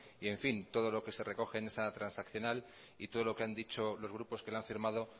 todo lo que se recoge en esa transaccional y todo lo que han dicho los grupos que lo han firmado